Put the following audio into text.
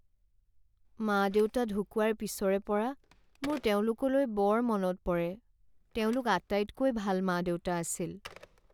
মা দেউতা ঢুকুৱাৰ পিছৰে পৰা মোৰ তেওঁলোকলৈ বৰ মনত পৰে। তেওঁলোক আটাইতকৈ ভাল মা দেউতা আছিল।